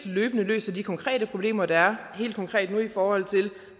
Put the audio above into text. løbende løser de konkrete problemer der er helt konkret nu i forhold til